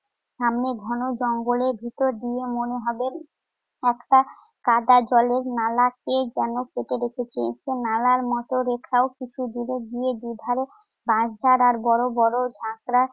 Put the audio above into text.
সামনে ঘন জঙ্গলের ভিতর দিয়ে মনে হবে একটা কাদা-জলের নালা কে যেন কেটে রেখেছে। এতে নালার মত রেখাও কিছুদূর গিয়ে দুধারে বাঁশঝাড় আর বড় বড় ঝাঁকড়া